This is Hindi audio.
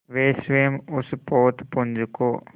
वे स्वयं उस पोतपुंज को